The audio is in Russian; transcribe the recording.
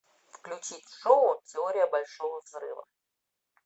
включить шоу теория большого взрыва